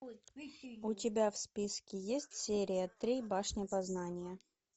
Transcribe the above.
у тебя в списке есть серия три башня познания